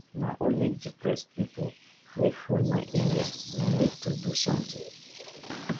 na only depressed people wey full my area. we need to do something.